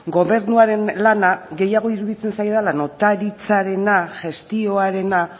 gobernuaren lana gehiago iruditzen zaidala notaritzarena gestioarena